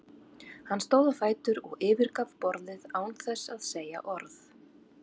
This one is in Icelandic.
Hann stóð á fætur og yfirgaf borðið án þess að segja orð.